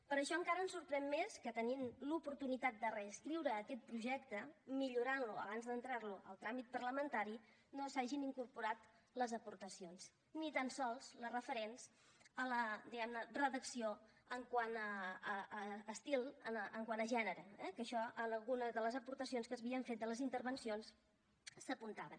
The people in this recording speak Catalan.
per això encara ens sorprèn més que tenint l’oportunitat de reescriure aquest projecte millorantlo abans d’entrarlo al tràmit parlamentari no s’hi hagin incorporat les aportacions ni tan sols les referents a la diguemne redacció quant a estil quant a gènere eh que això en alguna de les aportacions que s’havien fet de les intervencions s’apuntava